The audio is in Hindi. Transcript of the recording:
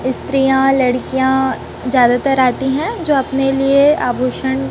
स्त्रियां लड़कियां ज्यादा तर आती है जो अपने लिए आभूषण--